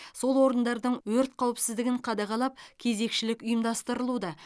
сол орындардың өрт қауіпсіздігін қадағалап кезекшілік ұйымдастырылуда